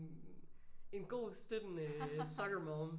En god støttende soccer mom